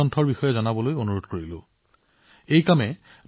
এনেদৰে আপুনি আন পঢ়ুৱৈসকলকো ২০২২ চনত ভাল কিতাপ বাচনি কৰাত সহায় কৰিব পাৰিব